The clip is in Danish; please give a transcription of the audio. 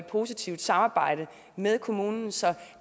positivt samarbejde med kommunen så